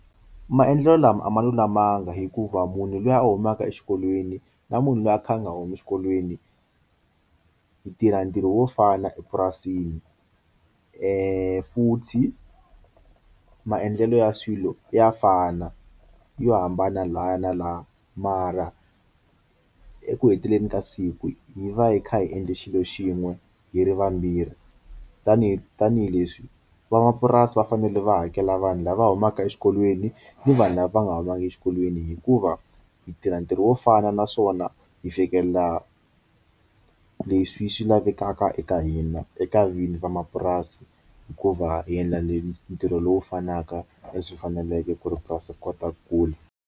Maendlelo lama a ma lulamanga hikuva munhu luya a humaka exikolweni na munhu loyi a kha a nga humi exikolweni yi tirha ntirho wo fana epurasini futhi maendlelo ya swilo ya fana yo hambana laya na laya mara eku heteleleni ka siku hi va hi kha hi endle xilo xin'we hi ri vambirhi tanihi tanihileswi van'wamapurasi va fanele va hakela vanhu lava humaka exikolweni ni vanhu lava va nga humangi exikolweni hikuva yi tirha ntirho wo fana naswona yi fikelela leswi swi lavekaka eka hina eka vinyi va mapurasi hikuva hi endla ni ntirho lowu fanaka na leswi hi faneleke ku ri purasi kotaku kule.